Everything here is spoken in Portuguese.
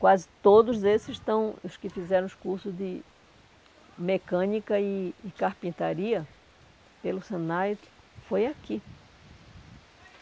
Quase todos esses estão os que fizeram os cursos de mecânica e e carpintaria pelo Senai, foi aqui.